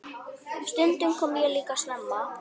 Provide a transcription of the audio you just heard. Stundum kom ég líka snemma.